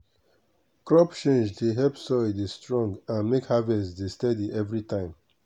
crop change dey help soil dey strong and make harvest dey steady every time.